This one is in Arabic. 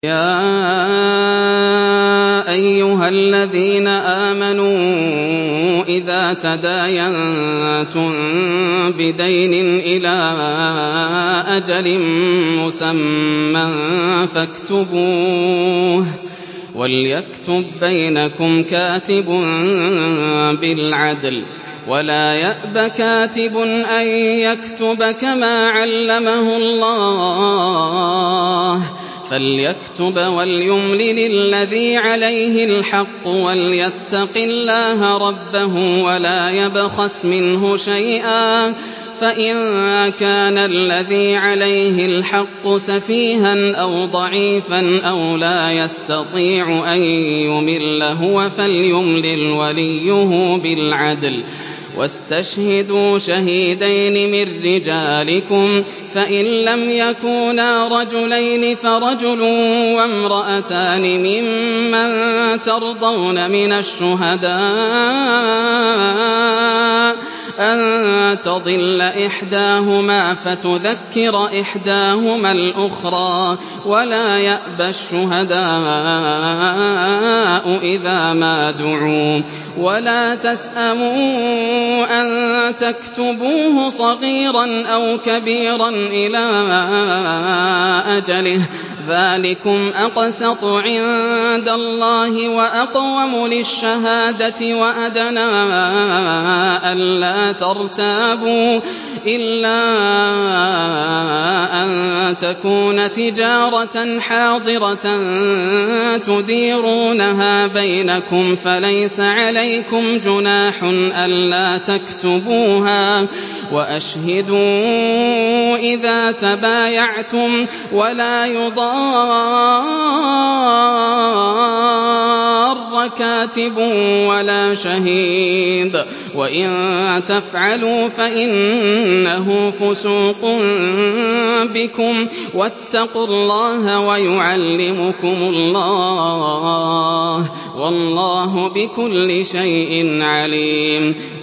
يَا أَيُّهَا الَّذِينَ آمَنُوا إِذَا تَدَايَنتُم بِدَيْنٍ إِلَىٰ أَجَلٍ مُّسَمًّى فَاكْتُبُوهُ ۚ وَلْيَكْتُب بَّيْنَكُمْ كَاتِبٌ بِالْعَدْلِ ۚ وَلَا يَأْبَ كَاتِبٌ أَن يَكْتُبَ كَمَا عَلَّمَهُ اللَّهُ ۚ فَلْيَكْتُبْ وَلْيُمْلِلِ الَّذِي عَلَيْهِ الْحَقُّ وَلْيَتَّقِ اللَّهَ رَبَّهُ وَلَا يَبْخَسْ مِنْهُ شَيْئًا ۚ فَإِن كَانَ الَّذِي عَلَيْهِ الْحَقُّ سَفِيهًا أَوْ ضَعِيفًا أَوْ لَا يَسْتَطِيعُ أَن يُمِلَّ هُوَ فَلْيُمْلِلْ وَلِيُّهُ بِالْعَدْلِ ۚ وَاسْتَشْهِدُوا شَهِيدَيْنِ مِن رِّجَالِكُمْ ۖ فَإِن لَّمْ يَكُونَا رَجُلَيْنِ فَرَجُلٌ وَامْرَأَتَانِ مِمَّن تَرْضَوْنَ مِنَ الشُّهَدَاءِ أَن تَضِلَّ إِحْدَاهُمَا فَتُذَكِّرَ إِحْدَاهُمَا الْأُخْرَىٰ ۚ وَلَا يَأْبَ الشُّهَدَاءُ إِذَا مَا دُعُوا ۚ وَلَا تَسْأَمُوا أَن تَكْتُبُوهُ صَغِيرًا أَوْ كَبِيرًا إِلَىٰ أَجَلِهِ ۚ ذَٰلِكُمْ أَقْسَطُ عِندَ اللَّهِ وَأَقْوَمُ لِلشَّهَادَةِ وَأَدْنَىٰ أَلَّا تَرْتَابُوا ۖ إِلَّا أَن تَكُونَ تِجَارَةً حَاضِرَةً تُدِيرُونَهَا بَيْنَكُمْ فَلَيْسَ عَلَيْكُمْ جُنَاحٌ أَلَّا تَكْتُبُوهَا ۗ وَأَشْهِدُوا إِذَا تَبَايَعْتُمْ ۚ وَلَا يُضَارَّ كَاتِبٌ وَلَا شَهِيدٌ ۚ وَإِن تَفْعَلُوا فَإِنَّهُ فُسُوقٌ بِكُمْ ۗ وَاتَّقُوا اللَّهَ ۖ وَيُعَلِّمُكُمُ اللَّهُ ۗ وَاللَّهُ بِكُلِّ شَيْءٍ عَلِيمٌ